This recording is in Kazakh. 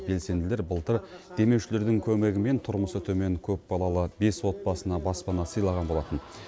белсенділер былтыр демеушілердің көмегімен тұрмысы төмен көпбалалы бес отбасына баспана сыйлаған болатын